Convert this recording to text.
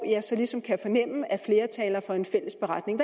jeg ligesom kan fornemme at flere taler for en fælles beretning